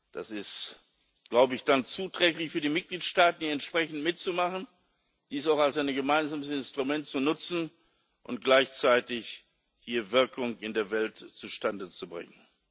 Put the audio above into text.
Das ist dann zuträglich für die Mitgliedstaaten, hier entsprechend mitzumachen, dies auch als ein gemeinsames Instrument zu nutzen und gleichzeitig hier Wirkung in der Welt zustande zu bringen.